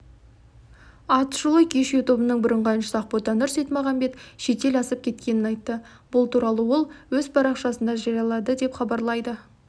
атышулы кеш тобының бұрынғы әншісі ақботанұр сейтмағанбет шетел асып кеткенін айтты бұл туралы ол өз парақшасында жариялады деп хабарлайды